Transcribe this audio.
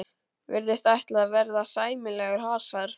Virðist ætla að verða sæmilegur hasar.